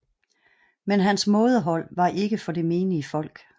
Men hans mådehold var ikke for det menige folk